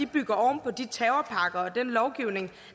bygger oven på de terrorpakker og den lovgivning